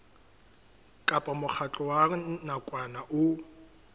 kapa mokgatlo wa nakwana o